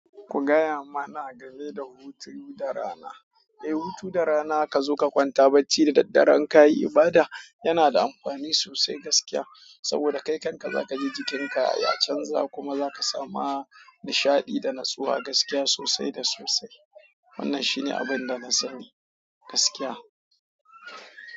Ku gaya mana game da hutun da rana. Eh, hutu da rana ka zo ka kwanta bacci da daddare in ka yi ibada yana da amfani sosai gaskiya. Saboda kai kanka zakaji jikin ka ya canza kuma sama nishadi da natsuwa gaskiya sosai da sosai. Wannan shi ne abin da na sani gaskiya.